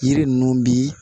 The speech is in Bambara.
Yiri ninnu bi